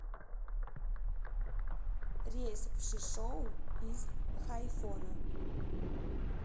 рейс в шишоу из хайфона